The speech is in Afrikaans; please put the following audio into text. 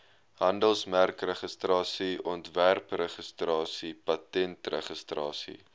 handelsmerkregistrasie ontwerpregistrasie patentregistrasie